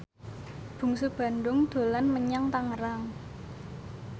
Bungsu Bandung dolan menyang Tangerang